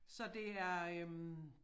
Så det er øh